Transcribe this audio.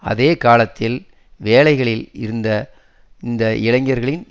அதே காலத்தில் வேலைகளில் இருந்த அந்த இளைஞர்களில்